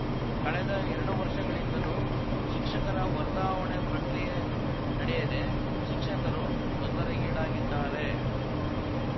ಕಳೆದ ಎರಡು ವರ್ಷಗಳಿಂದಲೂ ಶಿಕ್ಷಕರ ವರ್ಗಾವಣೆ ಪ್ರಕ್ರಿಯೆ ನಡೆಯದೆ ಶಿಕ್ಷಕರು ತೊಂದರೆಗೀಡಾಗಿದ್ದಾರೆ